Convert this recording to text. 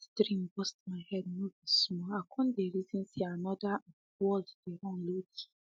that dream burst my head no be small i con dey reason say another um world dey run lowkey